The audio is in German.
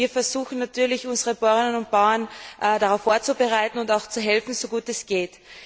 Wir versuchen natürlich, unsere Bauern und Bäuerinnen darauf vorzubereiten und auch zu helfen, so gut es geht.